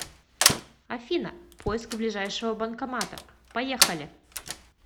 афина поиск ближайшего банкомата поехали